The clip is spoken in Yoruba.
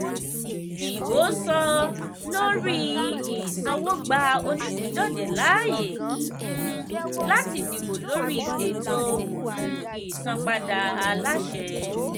ìbò sọ-lórí-ìsanwó gba oníìpíndọ̀jẹ̀ láàyè um láti dìbò lórí ètò um ìsanpadà aláṣẹ.